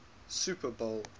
super bowl